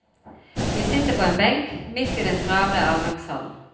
Vi sitter på en benk, midt i den travle avgangshallen.